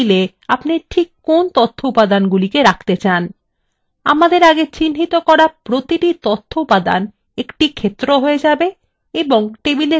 আমাদের আগে চিহ্নিত করা প্রতিটি তথ্য উপাদান একটি ক্ষেত্র হয়ে যাবে এবং table মধ্যে column হিসাবে প্রদর্শিত হবে